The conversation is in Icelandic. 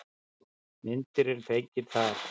Myndin er fengin þar.